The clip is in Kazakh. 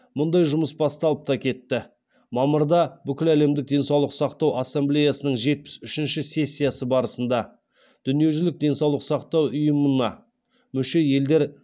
мұндай жұмыс басталып та кетті мамырда бүкіл әлемдік денсаулық сақтау ассамблеясының жетпіс үшінші сессиясы барысында дүниежүзілік денсаулық сақтау ұйымына мүше елдер